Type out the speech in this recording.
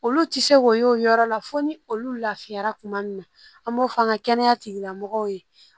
Olu tɛ se k'o y'o yɔrɔ la fo ni olu lafiyara kuma min na an b'o fɔ an ka kɛnɛya tigilamɔgɔw ye